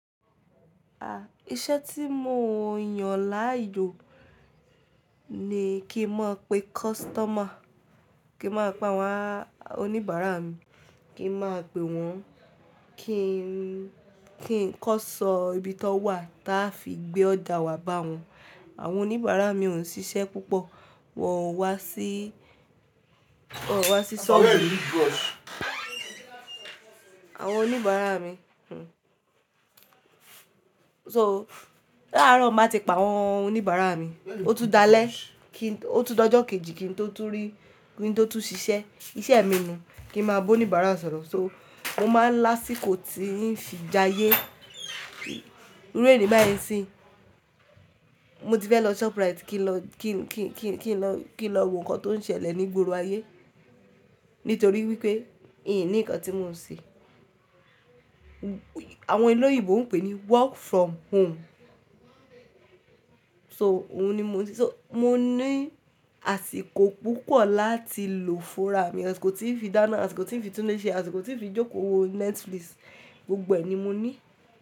A, iṣẹ́ tí mo yàn láàyò ni kí n máa pe kọ́sítọ́mà, kí n máa pa àwọn oníbàárà mi, kí n máa pe wọ́n, kí n, kí n kọ́ṣẹ́ ibi tó wà tí a fi gbé ọ̀jà wá bá wọn. Àwọn oníbàárà mi ò ń ṣiṣẹ́ púpọ̀, wọ́n wá sí, wọ́n wá sí ṣọ́ọ̀bù mí. Àwọn oníbàárà mi, so, láàárọ̀ tí mo bá ti pe àwọn oníbàárà mi, ó tún dalẹ́, ó tún dojọ́ kejì, kí n tó tún ṣiṣẹ́. Iṣẹ́ mi ni kí n máa bá oníbàárà sọ̀rọ̀, so mo máa ń lásìkò tí ń fi jayé. Irú ení bá e ṣí, mo ti fẹ́ lọ Shoprite kí n lọ wo nǹkan tó ń ṣẹlẹ̀ ní ìgboro ayé, nítorí wípé mi ò ní nǹkan tí mò ń ṣe. Àwọn ẹlẹ́yìnbò ń pè é ní work from home. So mo ní àsìkò púpọ̀ láti lò fúnra mi, àsìkò tí ń fi dáná, àsìkò tí ń fi tún ilé ṣe, àsìkò tí ń fi jókòó wo Netflix, gbogbo ẹ ni mo ní.